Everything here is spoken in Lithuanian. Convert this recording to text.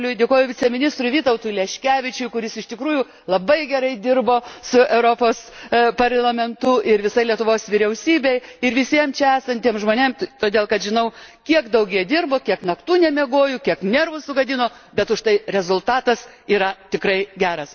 Karobliui, dėkoju viceministrui Vytautui Leškevičiui, kuris iš tikrųjų labai gerai dirbo su Europos Parlamentu, ir visai Lietuvos vyriausybei ir visiems čia esantiems žmonėms, todėl, kad žinau, kiek daug jie dirbo, kiek naktų nemiegojo, kiek nervų sugadino, bet užtai rezultatas yra tikrai geras.